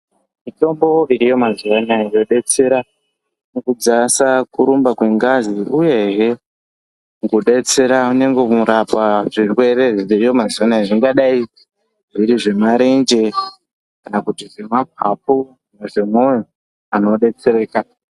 Mitombo iriyo mazuwa anaya inodetsera mukudzasa kurumba kwengazi uyehe mukudetsera nyangwe kurapa zvirwere zviriyo mazuwa anaya zvingadai zviri zvemarenje kana kuti zvemapapu ,kana zvemoyo anhu odetsereka.